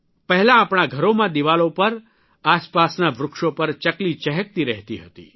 પહેલા આપણા ઘરોમાં દિવાલો પર આસપાસના વૃક્ષો પર ચકલી ચહેકતી રહેતી હતી